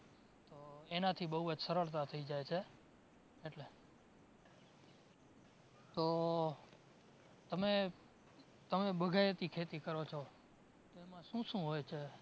એનાથી બોવ જ સરળતા થઈ જાય છે એટલે. તો તમે, તમે બાગાયતી ખેતી કરો છો તો એમાં શું શું હોય છે?